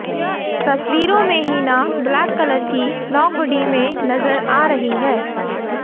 तस्वीरों में Hina black colour की लॉन्ग हुडी में नजर आ रही है